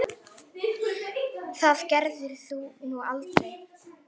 Það gerðir þú nú aldrei.